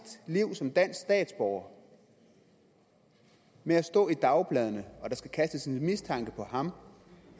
liv som dansk statsborger med at stå i dagbladene og der skal kastes en mistanke på ham